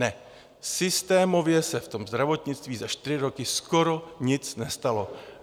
Ne, systémově se v tom zdravotnictví za čtyři roky skoro nic nestalo.